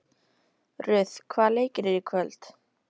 Ruth, hvaða leikir eru í kvöld?